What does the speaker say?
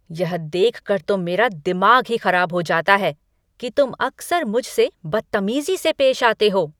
यह देखकर तो मेरा दिमाग ही खराब हो जाता है कि तुम अक्सर मुझसे बद्तमीज़ी से पेश आते हो।